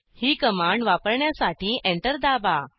ही command वापरण्यासाठी enter दाबा